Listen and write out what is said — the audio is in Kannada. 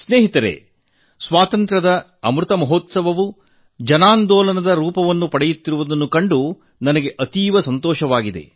ಮಿತ್ರರೇ ಸ್ವಾತಂತ್ರ್ಯದ ಅಮೃತ ಮಹೋತ್ಸವವು ಜನಾಂದೋಲನದ ರೂಪ ಪಡೆಯುತ್ತಿರುವುದನ್ನು ಕಂಡು ನನಗೆ ತುಂಬಾ ಸಂತೋಷವಾಗುತ್ತಿದೆ